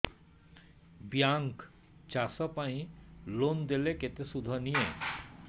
bank ଚାଷ ପାଇଁ loan ଦେଲେ କେତେ ସୁଧ ନିଏ